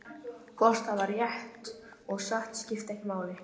Hvort það var rétt og satt skipti ekki máli.